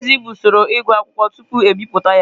Ndezi bụ usoro ịgụ akwụkwọ tupu e bipụta ya.